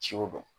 Ciw dɔn